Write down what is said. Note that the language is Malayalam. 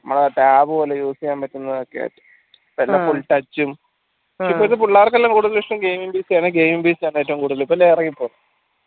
നമ്മളെ ആ tab പോലെ use ചെയ്യാൻ പറ്റുന്നതൊക്കെ ഇപ്പൾത്തെ full touch ഉം പക്ഷെ ഇപ്പൾത്ത പിള്ളാർക്കല്ലും കൂടുതൽ ഇഷ്‌ടം gaming PC gaming PC ഏറ്റവും കൂടുതൽ ഇറങ്ങിക്കോളും